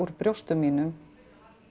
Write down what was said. brjóstum mínum